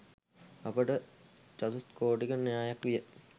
අපට චතුස්කෝටික න්‍යායක් විය